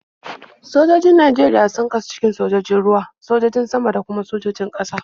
Sojojin Najeriya sun kasu cikin sojojin ruwa, sojojin sama, da kuma sojojin ƙasa.